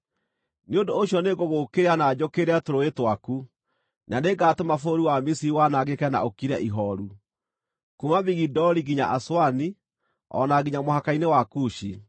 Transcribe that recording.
nĩ ũndũ ũcio nĩngũgũũkĩrĩra na njũkĩrĩre tũrũũĩ twaku, na nĩngatũma bũrũri wa Misiri wanangĩke na ũkire ihooru, kuuma Migidoli nginya Aswani, o na nginya mũhaka-inĩ wa Kushi.